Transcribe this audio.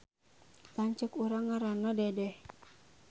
Lanceuk urang ngaranna Dedeh